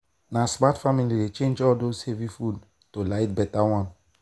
na smart family dey change all those heavy food for lighter better one.